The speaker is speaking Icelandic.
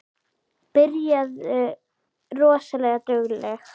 Byrjaði rosa dugleg.